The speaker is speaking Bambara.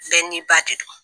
Fɛn n'i ba